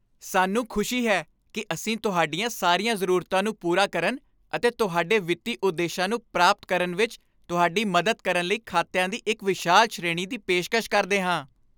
ਸਾਨੂੰ ਖੁਸ਼ੀ ਹੈ ਕਿ ਅਸੀਂ ਤੁਹਾਡੀਆਂ ਸਾਰੀਆਂ ਜ਼ਰੂਰਤਾਂ ਨੂੰ ਪੂਰਾ ਕਰਨ ਅਤੇ ਤੁਹਾਡੇ ਵਿੱਤੀ ਉਦੇਸ਼ਾਂ ਨੂੰ ਪ੍ਰਾਪਤ ਕਰਨ ਵਿੱਚ ਤੁਹਾਡੀ ਮਦਦ ਕਰਨ ਲਈ ਖਾਤਿਆਂ ਦੀ ਇੱਕ ਵਿਸ਼ਾਲ ਸ਼੍ਰੇਣੀ ਦੀ ਪੇਸ਼ਕਸ਼ ਕਰਦੇ ਹਾਂ।